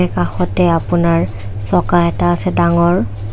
কাষতে আপোনাৰ চকা এটা আছে ডাঙৰ।